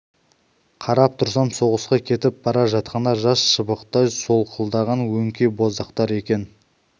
қарап тұрсам соғысқа кетіп бара жатқандар жас шыбықтай солқылдаған өңкей боздақтар екен